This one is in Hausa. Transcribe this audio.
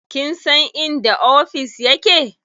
Kin san inda ofis ya ke?